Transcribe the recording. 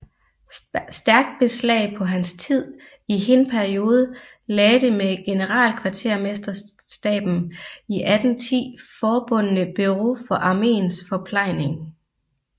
Stærkt beslag på hans tid i hin periode lagde det med generalkvartermesterstaben i 1810 forbundne Bureau for armeens forplejning